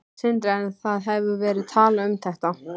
Sindri: En það hefur verið talað um þetta?